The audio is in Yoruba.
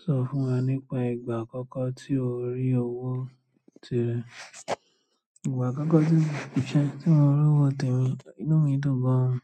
Sọ fún wa nípa ìgbà àkọ́kọ́ tí o rí owó tìrẹ. Ìgbà àkọ́kọ́ tí mo rówó tèmi, inú mi dùn gan-an.